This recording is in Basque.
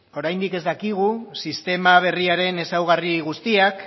oraindik ez dakigu sistema berriaren ezaugarri guztiak